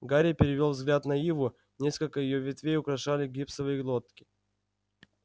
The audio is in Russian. гарри перевёл взгляд на иву несколько её ветвей украшали гипсовые лотки